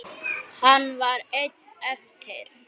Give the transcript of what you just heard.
Hann var einn eftir.